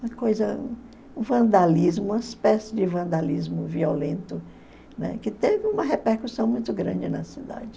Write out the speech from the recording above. Uma coisa, um vandalismo, uma espécie de vandalismo violento, né, que teve uma repercussão muito grande na cidade.